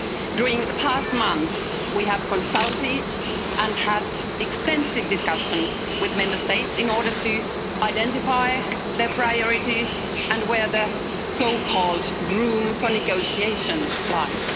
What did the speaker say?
During the past months we have consulted and had extensive discussions with Member States in order to identify their priorities and where the so-called room for negotiation lies.